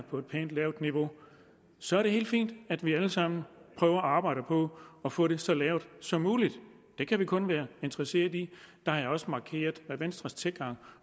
på et pænt lavt niveau så er det helt fint at vi alle sammen prøver at arbejde på at få det så lavt som muligt det kan vi kun være interesserede i jeg har også markeret hvad venstres tilgang